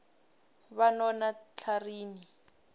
banonatlharini